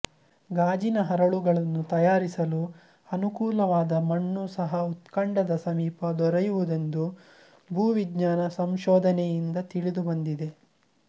ಗಾಜಿನ ಹರಳುಗಳನ್ನು ತಯಾರಿಸಲು ಅನುಕೂಲವಾದ ಮಣ್ಣು ಸಹ ಹುತ್ಕಂಡದ ಸಮೀಪ ದೊರೆಯುವುದೆಂದು ಭೂವಿಜ್ಞಾನ ಸಂಶೋಧನೆಯಿಂದ ತಿಳಿದುಬಂದಿದೆ